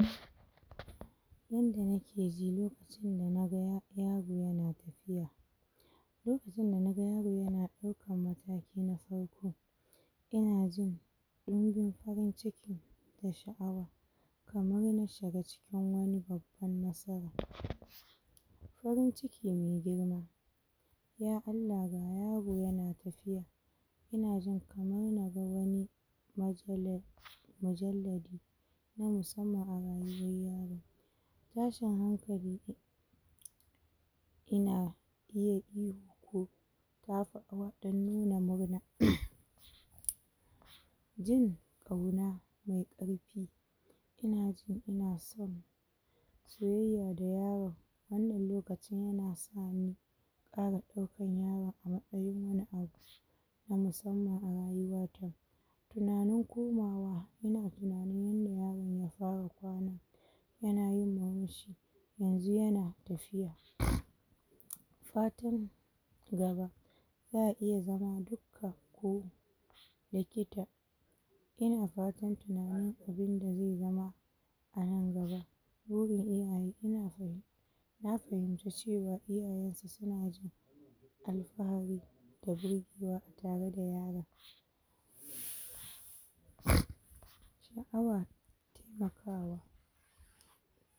um Yanda nakeji loka cin da naga yaro yana tafiya lokacin danaga yaro ya ɗau kan mataki na farko inajin ɗinbin farin ciki da shi awa kamar na shiga cikin wani babba nasara farin ciki mai girma ya Allah ga yaro yana tafiya inajin kamar yana da wani majele majallabi na musamman a rayuwan yaron tashin hankali ina iya ihu ko tafawa dan nuna murna jin kauna mai karfi inajin ina soyayya da yawa wannan lokacin yana asani fara ɗaukan yaro a matsayi wani a na musamman arayuwa tinanin ko mawa ina tinanin wannan yaron yafara kwana yanayi yanzu yana tafiya fatan gaba baya iya zama dukka ko likita yana fatan tinanin abin da ze iya zama anan gaba burin iyaye ina nafimci cewa iyaye na alfahari da birgewa atare da yaron um sha awa tema kawa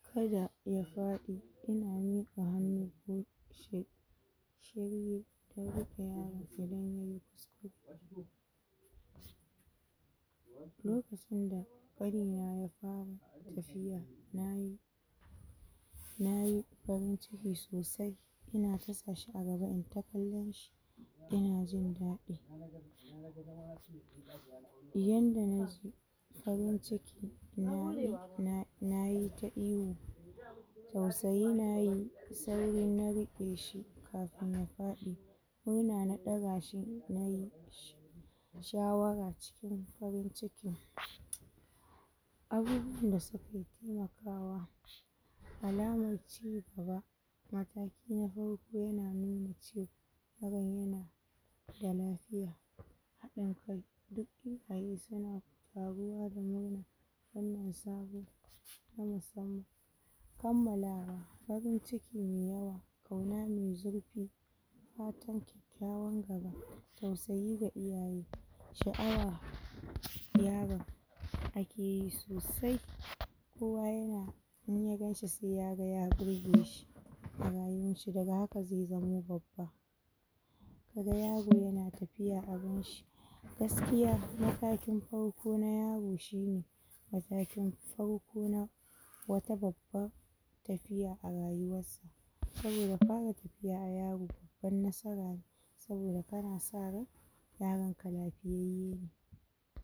kada ya faɗi yana miƙa hannu?? lokacin da ƙanina ya har tafiya nayi nayi farin cikin sosai ina tasa shi agaba inta kallon shi inajin daɗi yanda naji farin ciki na i, nayita ihu tausayi nayi sauri nari ƙe kafin na faɗi kuna na ɗagashi nayi shawara cikin farin ciki abubuwan dasu alaman ciwo gaba matakina farko yana nu mace ɓarayin dalafiya haɗin kai duk kammalawa farin cikine kauna me zurfi fatan kyakykyawan gaba tausayi ga iyaye sha awa yaron akeyi sosai um ko ya in yaganshi se yaga ya burgeshi a rayuwan shi daga haka ze zamo babba kaga yaro yana tafiya abin gaskiya matakin farko ko na yaro shine matakin farko na wata babba tafiya arayuwa saboda fara tafiya a yaro baban nasara ne saboda kanasa ryan yaronka lafiyayye